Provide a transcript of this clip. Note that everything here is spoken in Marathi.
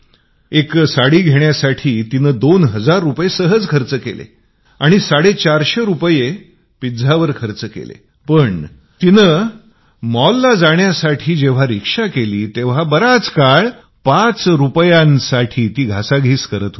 एका साडीवर तिने दोन हजार रुपये आरामात खर्च केले आणि 450 रुपये पिझ्यावर पण त्यापूर्वी जेंव्हा तिने मॉलमध्ये जाण्यासाठी रिक्षा केली आणि बराच वेळ पाच रुपयासाठी रिक्षावाल्याशी वाद घालत होती